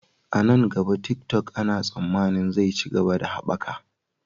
A nan gaba, TikTok ana tsammanin zai ci gaba da haɓaka.